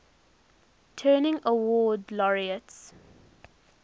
turing award laureates